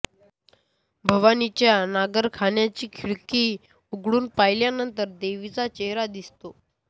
भवानीच्या नगरखान्याची खिडकी उघडून पाहिल्यानंतर देवीचा चेहरा दिसतो